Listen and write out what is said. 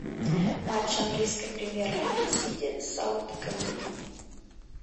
матч английской премьер лиги сити саутгемптон